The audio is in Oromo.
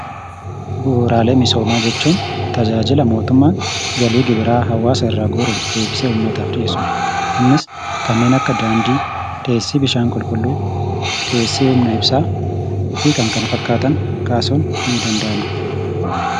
Bu'uuraalee misoomaa jechuun tajaajila mootummaan galii gibira uummata irraa guuruun deebisee uummataaf dhiyeessudha. Isaanis kanneen akka daandii, bishaan qulqulluu, humna ibsaan fi kanneen kana fakkaatan kaasun ni danda'ama.